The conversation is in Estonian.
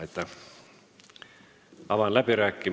Aitäh!